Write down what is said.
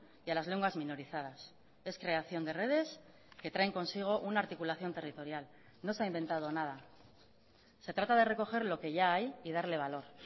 y a las lenguas minorizadas es creación de redes que traen consigo una articulación territorial no se ha inventado nada se trata de recoger lo que ya hay y darle valor